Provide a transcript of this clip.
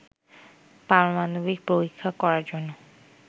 পারমাণবিক পরীক্ষা করার জন্য